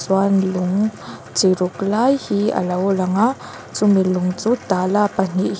chuan lung chi ruk lai hi a lo lang a chu mi lung chu tala pahnih hi--